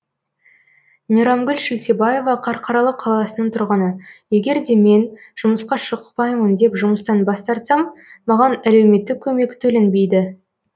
мейрамгүл шілтебаева қарқаралы қаласының тұрғыны егер де мен жұмысқа шықпаймын деп жұмыстан бас тартсам маған әлеуметтік көмек төленбейді